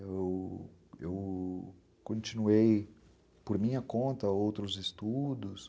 E... eu continuei, por minha conta, outros estudos.